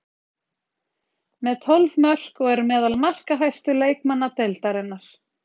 Með tólf mörk og er meðal markahæstu leikmanna deildarinnar.